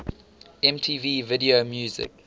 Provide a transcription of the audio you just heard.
mtv video music